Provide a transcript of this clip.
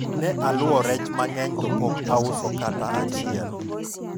ne aluwo rech mang'eny to pok auso kata achiel